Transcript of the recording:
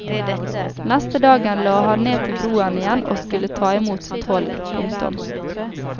Neste dagen la han ned til broen igjen og skulle ta imot toll. punktum